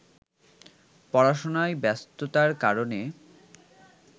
পড়াশোনায় ব্যস্ততার কারণে